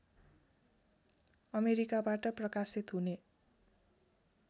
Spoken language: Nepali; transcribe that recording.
अमेरिकाबाट प्रकाशित हुने